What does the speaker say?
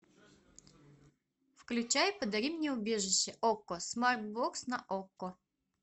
включай подари мне убежище окко смарт бокс на окко